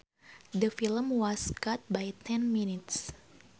The film was cut by ten minutes